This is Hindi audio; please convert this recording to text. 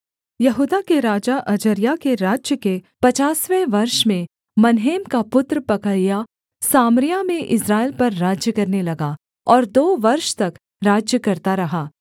यहूदा के राजा अजर्याह के राज्य के पचासवें वर्ष में मनहेम का पुत्र पकहयाह सामरिया में इस्राएल पर राज्य करने लगा और दो वर्ष तक राज्य करता रहा